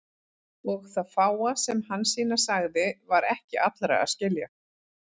Og það fáa sem Hansína sagði var ekki allra að skilja.